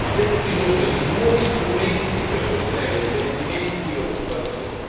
Abbiamo bisogno di nuovi strumenti per sostenere investimenti e occupazione.